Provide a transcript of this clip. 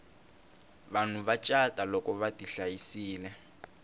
vanhu va cata loko vati hlayisile